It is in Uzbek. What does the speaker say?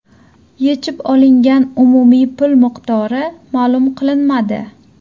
Yechib olingan umumiy pul miqdori ma’lum qilinmadi.